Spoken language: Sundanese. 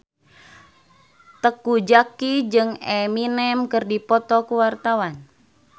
Teuku Zacky jeung Eminem keur dipoto ku wartawan